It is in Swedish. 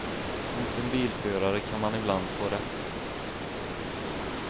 Mot en bilförare kan man ibland få rätt.